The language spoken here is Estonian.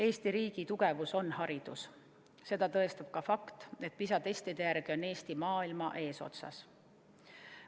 Eesti riigi tugevus on haridus, seda tõestab ka fakt, et PISA-testide järgi on Eesti maailmas eesotsas.